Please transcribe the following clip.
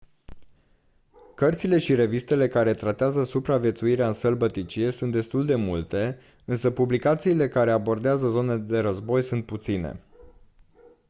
cărțile și revistele care tratează supraviețuirea în sălbăticie sunt destul de multe însă publicațiile care abordează zone de război sunt puține